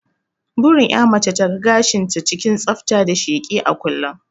Burin ƴa mace ta ga gashin ta cikin tsafta da sheki a kullun